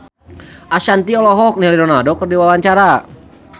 Ashanti olohok ningali Ronaldo keur diwawancara